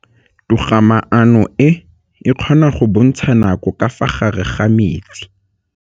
Toga-maanô e, e kgona go bontsha nakô ka fa gare ga metsi.